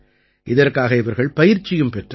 இதற்காக இவர்கள் பயிற்சியும் பெற்றார்கள்